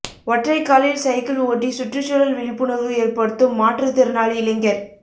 ஒற்றைக் காலில் சைக்கிள் ஓட்டி சுற்றுச்சூழல் விழிப்புணா்வு ஏற்படுத்தும் மாற்றுத் திறனாளி இளைஞா்